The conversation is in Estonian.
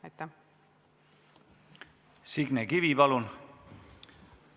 Signe Kivi, palun!